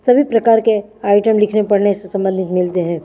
सभी प्रकार के आइटम लिखने से पढने से समन्धित मिलते हैं।